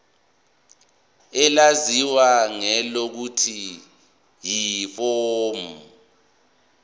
elaziwa ngelokuthi yiform